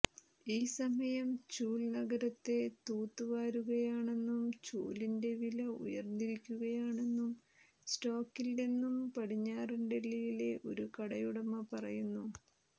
ഈ സമയം ചൂൽ നഗരത്തെ തൂത്ത് വാരുകയാണെന്നും ചൂലിന്റെ വില ഉയർന്നിരിക്കുകയാണെന്നും സ്റ്റോക്കില്ലെന്നും പടിഞ്ഞാറൻ ഡൽഹിയിലെ ഒരു കടയുടമ പറയുന്നു